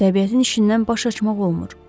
Təbiətin işindən baş açmaq olmur.